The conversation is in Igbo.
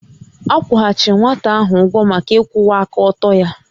A kwụghachiri nwata ahụ ụgwọ maka ịkwụwa aka ọtọ ya